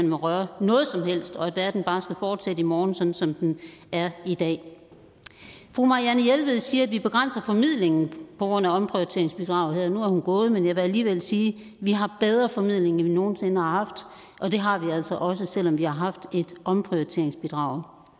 må røre ved noget som helst og at verden bare skal fortsætte i morgen sådan som den er i dag fru marianne jelved siger at vi begrænser formidlingen på grund af omprioriteringsbidraget nu er hun gået men jeg vil alligevel sige vi har bedre formidling end vi nogen sinde har haft og det har vi altså også selv om vi har haft et omprioriteringsbidrag